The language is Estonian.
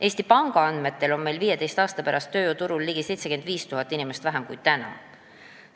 Eesti Panga andmetel on meil 15 aasta pärast tööjõuturul ligi 75 000 inimest vähem kui täna.